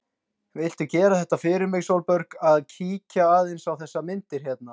Viltu gera það fyrir mig, Sólborg, að kíkja aðeins á þessar myndir hérna!